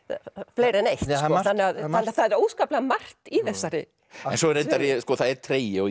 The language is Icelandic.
fleiri en eitt þannig að það er óskaplega margt í þessari sögu það er tregi og